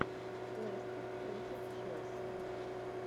лестер против челси